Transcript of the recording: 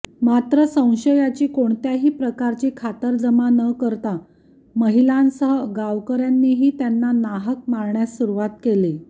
मात्र संशयाची कोणत्याही प्रकारची खातरजमा न करता महिलांसह गावकऱ्यांनीही त्यांना नाहक मारण्यास सूरूवात केली